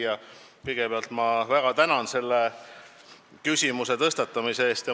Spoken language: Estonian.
Hea küsija, kõigepealt ma väga tänan selle küsimuse tõstatamise eest!